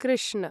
Krishna